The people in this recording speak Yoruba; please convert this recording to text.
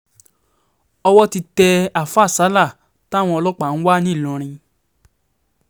owó ti tẹ àáfáà sala táwọn ọlọ́pàá ń wá ńìlọrin